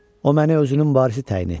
O məni özünün varisi təyin etdi.